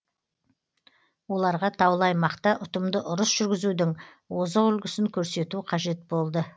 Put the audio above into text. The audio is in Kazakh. оларға таулы аймақта ұтымды ұрыс жүргізудің озық үлгісін көрсету қажет болды